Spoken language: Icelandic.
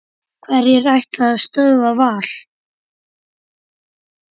Hverjir ætla að stöðva Val?